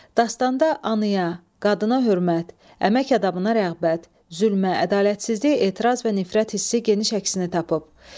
Dastanda anaya, qadına hörmət, əmək adabına rəğbət, zülmə, ədalətsizliyə etiraz və nifrət hissi geniş əksini tapıb.